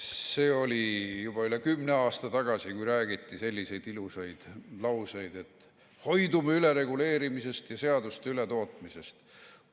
See oli juba üle kümne aasta tagasi, kui räägiti selliseid ilusaid lauseid, et hoidume ülereguleerimisest ja seaduste ületootmisest.